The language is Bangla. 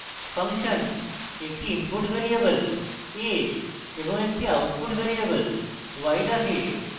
ফাংশন একটি input ভ্যারিয়েবল a এবং এক output ভ্যারিয়েবল y রাখে